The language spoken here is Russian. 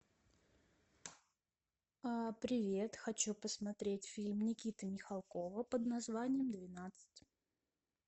привет хочу посмотреть фильм никиты михалкова под названием двенадцать